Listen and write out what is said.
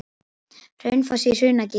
Hraunfoss í Hrunagili.